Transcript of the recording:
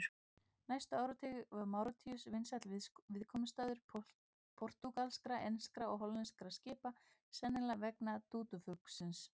Næstu áratugi var Máritíus vinsæll viðkomustaður portúgalskra, enskra og hollenskra skipa, sennilega vegna dúdúfuglsins.